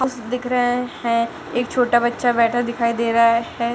दिख रहे हैं एक छोटा बच्चा बैठा दिखाई दे रहा है।